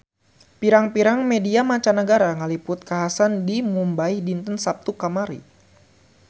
Pirang-pirang media mancanagara ngaliput kakhasan di Mumbay dinten Saptu kamari